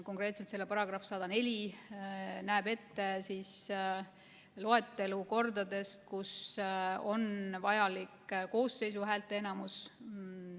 Konkreetselt selle § 104 näeb ette loetelu olukordadest, kui on vajalik koosseisu häälteenamus.